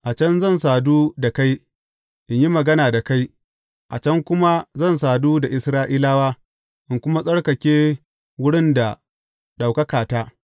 A can zan sadu da kai, in yi magana da kai; a can kuma zan sadu da Isra’ilawa, in kuma tsarkake wurin da ɗaukakata.